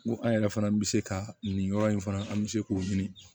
N ko an yɛrɛ fana bɛ se ka nin yɔrɔ in fana an bɛ se k'o ɲini